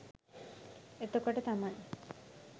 එතකොට තමයි